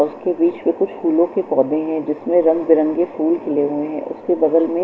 और उसके बीच में कुछ फूलों के पौधे हैं जिसमें रंग बिरंगे फूल खिले हुए हैं उसके बगल में--